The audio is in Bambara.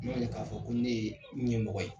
N'o tɛ k'a fɔ ko ne ye ɲɛmɔgɔ ye